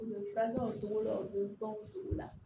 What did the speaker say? U bɛ fura kɛ o cogo la u bɛ baw la